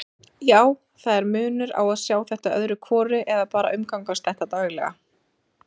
Já, það er munur á að sjá þetta öðru hvoru eða bara umgangast þetta daglega.